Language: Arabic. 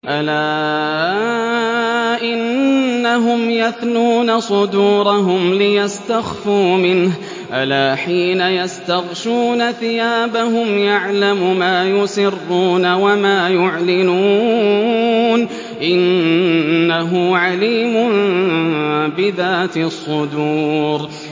أَلَا إِنَّهُمْ يَثْنُونَ صُدُورَهُمْ لِيَسْتَخْفُوا مِنْهُ ۚ أَلَا حِينَ يَسْتَغْشُونَ ثِيَابَهُمْ يَعْلَمُ مَا يُسِرُّونَ وَمَا يُعْلِنُونَ ۚ إِنَّهُ عَلِيمٌ بِذَاتِ الصُّدُورِ